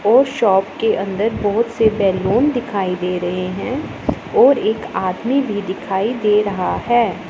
और शॉप के अंदर बहोत से बैलून दिखाई दे रहे हैं और एक आदमी भी दिखाई दे रहा है।